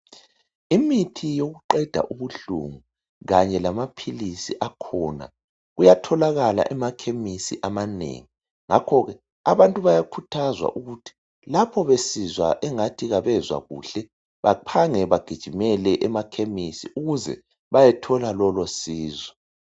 Imithi yokuqeda ubuhlungu kanye lamaphilizi akhona kuyatholakala emakhemisi amanengi ngakhoke abantu bayakhuthazwa ukuthi lapho besizwa engathi abezwa kuhle bephange bagijimele emakhemisi ukuze bayethole lolosizo.